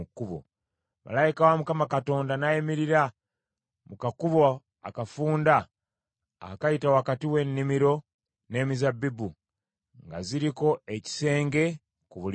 Malayika wa Mukama Katonda n’ayimirira mu kakubo akafunda akayita wakati w’ennimiro z’emizabbibu nga ziriko ekisenge ku buli luuyi.